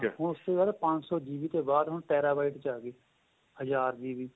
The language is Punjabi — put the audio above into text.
ਹੁਣ ਉਸ ਤੋ ਜਿਆਦਾ ਪੰਜ ਸ਼ੋ GB ਤੇ ਬਾਅਦ terabyte ਹਜਾਰ GB